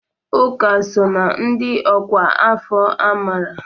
Uka so na ndị ọkwá afọ amara.